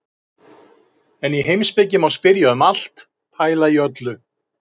En í heimspeki má spyrja um allt, pæla í öllu.